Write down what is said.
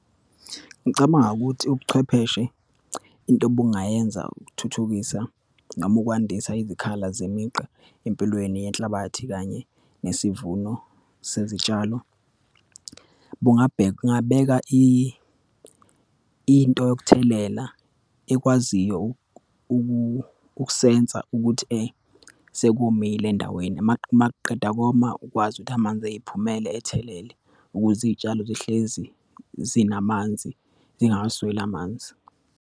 Ngicabanga ukuthi ubuchwepheshe, into obungayenza ukuthuthukisa noma ukwandisa izikhala zemigqa empilweni yenhlabathi kanye nesivuno sezitshalo. Bungabheka, kungabeka into yokuthelela ekwaziyo ukusensa ukuthi sekomile endaweni. Uma kuqeda koma, ukwazi ukuthi amanzi eyiphumele, athelele ukuze iyitshalo zihlezi zinamanzi, zingasweli amanzi.